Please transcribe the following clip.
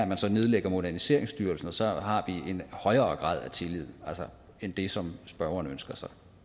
man så nedlægger moderniseringsstyrelsen og så har vi en højere grad af tillid end det som spørgeren ønsker sig